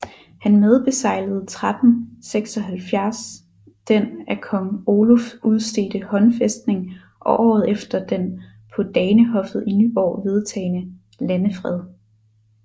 Han medbeseglede 1376 den af kong Oluf udstedte håndfæstning og året efter den på Danehoffet i Nyborg vedtagne landefred